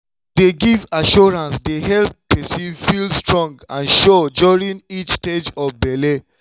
to dey give assurance dey help person feel strong and sure during each stage of belle.